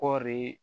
Kɔɔri